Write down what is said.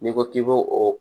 N'i ko k'i b'o o